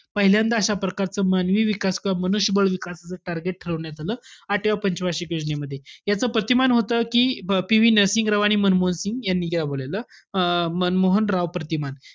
पहिल्यांदा अशा प्रकारचा मानवी विक्स किंवा मनुष्य बळ विकासाचं target ठरवण्यात आलं आठव्या पंच वार्षिक योजनेमध्ये. याच प्रतिमान होतं कि, PV नरसिंहराव आणि मनमोहन सिंग यांनी राबवलेलं. अं मनमोहन-राव प्रतिमान.